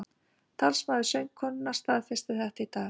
Talsmaður söngkonunnar staðfesti þetta í dag